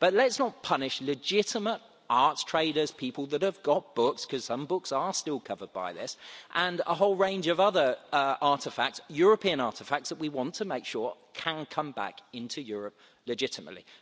But let's not punish legitimate arts traders, people that have got books because some books are still covered by this and a whole range of other European artefacts that we want to make sure can come back into Europe legitimately.